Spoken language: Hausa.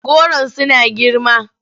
Goron suna girma.